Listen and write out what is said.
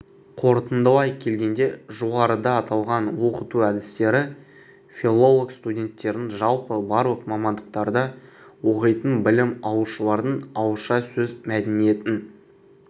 қорытындылай келгенде жоғарыда аталған оқыту әдістері филолог студенттердің жалпы барлық мамандықтарда оқитын білім алушылардың ауызша сөз мәдениетін